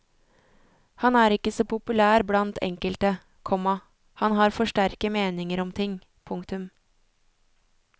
Han er ikke så populær blant enkelte, komma han har for sterke meninger om ting. punktum